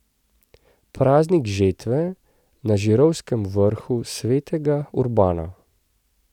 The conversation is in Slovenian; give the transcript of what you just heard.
Praznik žetve na Žirovskem Vrhu Svetega Urbana.